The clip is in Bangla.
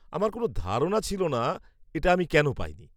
আমার কোনও ধারণা ছিল না এটা আমি কেন পাইনি।